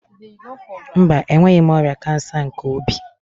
Mba, enweghị m ọrịa kansa nke obi.